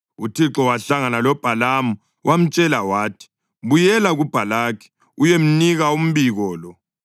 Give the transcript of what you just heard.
UThixo wahlangana loBhalamu wamtshela wathi, “Buyela kuBhalaki uyemnika umbiko lo.”